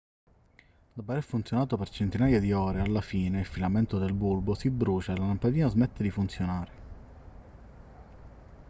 dopo aver funzionato per centinaia di ore alla fine il filamento del bulbo si brucia e la lampadina smette di funzionare